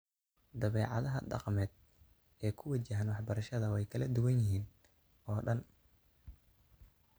Dabeecadaha dhaqameed ee ku wajahan waxbarashada way kala duwan yihiin oo dhan.